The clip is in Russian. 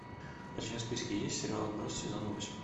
у тебя в списке есть сериал отбросы сезон восемь